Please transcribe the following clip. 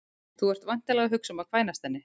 Þú ert væntanlega að hugsa um að kvænast henni